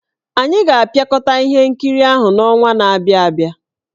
Anyị ga-apịakọta ihe nkiri ahụ n'ọnwa na-abịa abịa.